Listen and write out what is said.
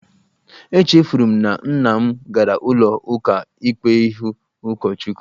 Echefuru m na nna m gara ụlọ ụka ikpe ịhụ ụkọchukwu